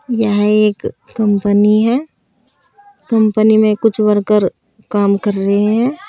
यह एक कंपनी है कंपनी में कुछ वर्कर काम कर रहे हैं।